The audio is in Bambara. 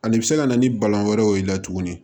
Ani bɛ se ka na ni balan wɛrɛ ye o la tuguni